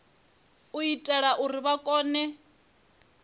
u itela uri vha kone